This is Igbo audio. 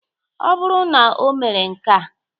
Ọ bụrụ na omere nkea